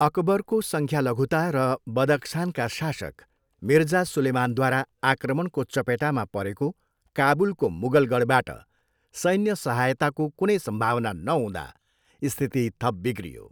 अकबरको सङ्ख्यालघुता र बदख्सानका शासक मिर्जा सुलेमानद्वारा आक्रमणको चपेटामा परेको काबुलको मुगल गढबाट सैन्य सहायताको कुनै सम्भावना नहुँदा स्थिति थप बिग्रियो।